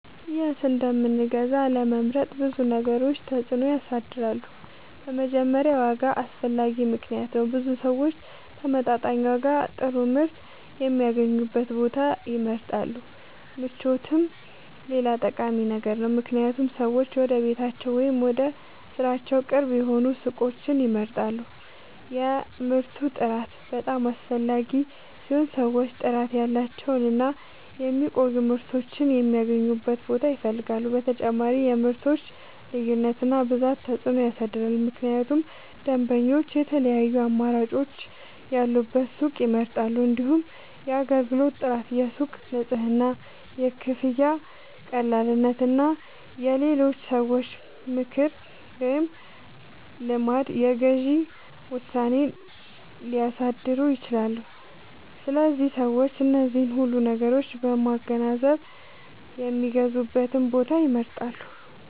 የት እንደምንገዛ ለመምረጥ ብዙ ነገሮች ተጽዕኖ ያሳድራሉ። በመጀመሪያ ዋጋ አስፈላጊ ምክንያት ነው፤ ብዙ ሰዎች በተመጣጣኝ ዋጋ ጥሩ ምርት የሚያገኙበትን ቦታ ይመርጣሉ። ምቾትም ሌላ ጠቃሚ ነገር ነው፣ ምክንያቱም ሰዎች ወደ ቤታቸው ወይም ወደ ሥራቸው ቅርብ የሆኑ ሱቆችን ይመርጣሉ። የምርቱ ጥራት በጣም አስፈላጊ ሲሆን ሰዎች ጥራት ያላቸውን እና የሚቆዩ ምርቶችን የሚያገኙበትን ቦታ ይፈልጋሉ። በተጨማሪም የምርቶች ልዩነት እና ብዛት ተጽዕኖ ያሳድራል፣ ምክንያቱም ደንበኞች የተለያዩ አማራጮች ያሉበትን ሱቅ ይመርጣሉ። እንዲሁም የአገልግሎት ጥራት፣ የሱቁ ንጽህና፣ የክፍያ ቀላልነት እና የሌሎች ሰዎች ምክር ወይም ልምድ የግዢ ውሳኔን ሊያሳድሩ ይችላሉ። ስለዚህ ሰዎች እነዚህን ሁሉ ነገሮች በማገናዘብ የሚገዙበትን ቦታ ይመርጣሉ።